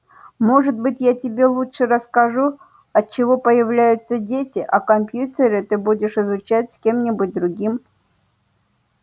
может быть я тебе лучше расскажу от чего появляются дети а компьютеры ты будешь изучать с кем-нибудь другим